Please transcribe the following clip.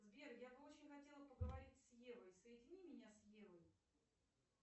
сбер я бы очень хотела поговорить с евой соедини меня с евой